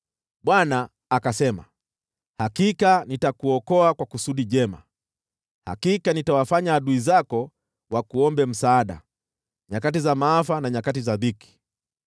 Bwana akasema, “Hakika nitakuokoa kwa kusudi jema, hakika nitawafanya adui zako wakuombe msaada nyakati za maafa na nyakati za dhiki.